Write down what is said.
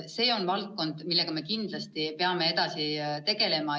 See on valdkond, millega me kindlasti peame edasi tegelema.